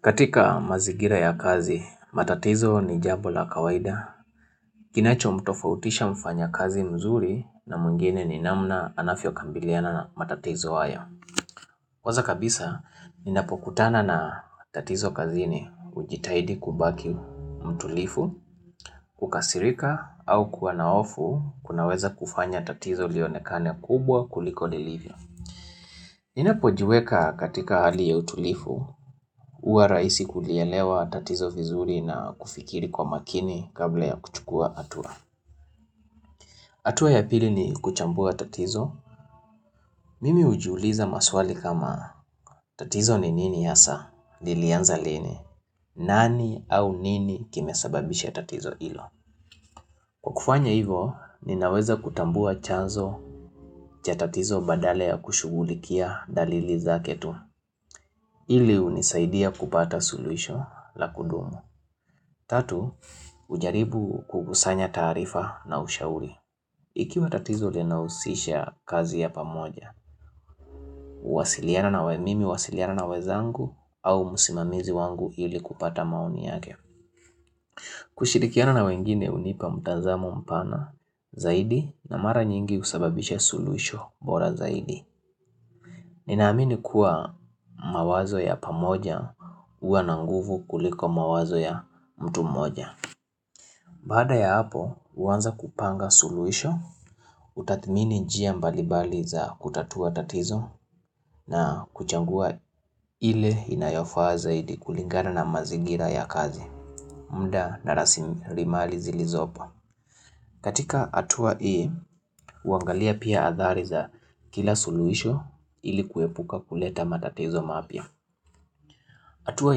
Katika mazigira ya kazi, matatizo ni jambola kawaida. Kinacho mtofautisha mfanya kazi mzuri na mwngine ni namna anafyokambiliana matatizo haya. Kwaza kabisa, ninapokutana na tatizo kazi ni ujitahidi kubaki mtulifu, kukasirika au kua na hofu kunaweza kufanya tatizo lionekane kubwa kuliko lilivyo. Ninapojiweka katika hali ya utulifu, hua raisi kulielewa tatizo vizuri na kufikiri kwa makini kabla ya kuchukua atua. Atua ya pili ni kuchambua tatizo, mimi hujuuliza maswali kama tatizo ni nini hasa, lilianza lini, nani au nini kimesababisha tatizo ilo. Kwa kufanya hivo, ninaweza kutambua chanzo chatatizo badalaya kushugulikia dalili za ketu, ili hunisaidia kupata suluisho la kudumu. Tatu, ujaribu kugusanya taarifa na ushauri. Ikiwa tatizo linausisha kazi ya pamoja, wasiliana na wemimi, wasiliana na wezangu au musimamizi wangu ili kupata maoni yake. Kushirikiana na wengine hunipa mtazamo mpana zaidi na mara nyingi husababisha suluisho bora zaidi. Ninaamini kuwa mawazo ya pamoja hua nanguvu kuliko mawazo ya mtu mmoja. Baada ya hapo huanza kupanga suluhisho, utathmini njia mbalimbali za kutatua tatizo na kuchangua ile inayofaa zaidi kulingana na mazingira ya kazi. Mda narasi rimali zilizopo. Katika atua ii, uangalia pia athari za kila suluisho ili kuepuka kuleta matatizo mapya. Atua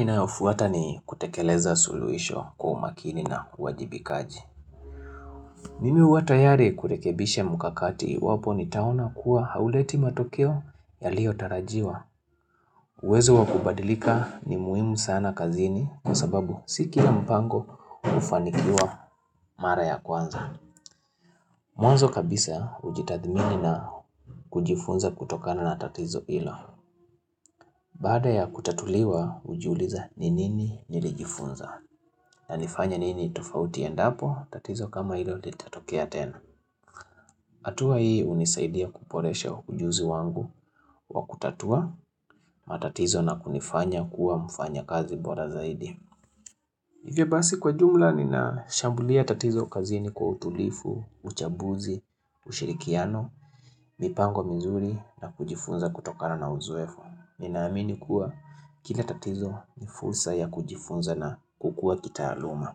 inayofuata ni kutekeleza suluisho kwa umakini na wajibikaji. Mimi huatayari kurekebisha mukakati iwapo ni taona kuwa hauleti matokeo yalio tarajiwa. Uwezo wakubadilika ni muhimu sana kazini kwa sababu si kila mpango hufanikiwa mara ya kwanza. Mwanzo kabisa ujitathmini na kujifunza kutokana na tatizo ilo. Baada ya kutatuliwa ujiuliza ninini nilijifunza na nifanye nini tofauti endapo tatizo kama hilo litatokea tena. Atua hii unisaidia kuporesha ujuzi wangu wa kutatua matatizo na kunifanya kuwa mfanya kazi bora zaidi. Hivyo basi kwa jumla nina shambulia tatizo kazini kwa utulifu, uchabuzi, ushirikiano, mipango mizuri na kujifunza kutokana na uzoefu. Ninaamini kuwa kila tatizo ni fursa ya kujifunza na kukua kitaaluma.